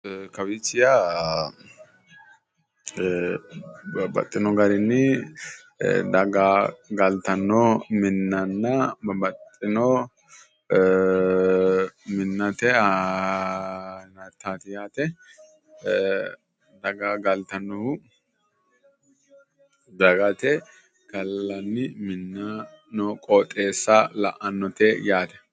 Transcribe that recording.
Kawiichi yaa babbaxxino garinni daga galtanno minnanna babbaxxino minnate danaati yaate daga galtannohu gallanni minna noo qooxeessa leellishannote yaate